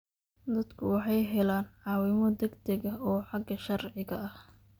Dadku waxay helaan caawimo degdeg ah oo xagga sharciga ah.